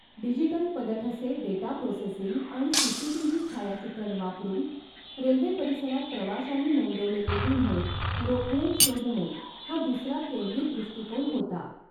Digital पदठसे data processing आणि CCTV छायाचित्रण वापरून रेल्वे परिसरात प्रवाशांनी नोंदवलेले गुन्हे रोखणे शोधणे हा दुसरा केंद्रित दृष्टिकोन होता.